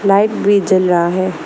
Light भी जल रहा है।